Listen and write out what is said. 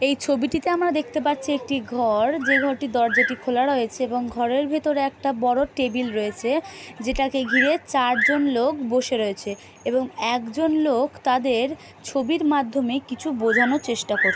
এই ছবিটিতে আমরা দেখতে পাচ্ছি একটি ঘর যেই ঘরটির দরজাটি খোলা রয়েছে এবং ঘরের ভিতরে একটা বড় টেবিল রয়েছে যেটাকে ঘিরে চার জন লোক বসে রয়েছে এবং একজন লোক তাদের ছবির মাধ্যমে কিছু বোঝানোর চেষ্টা করছে।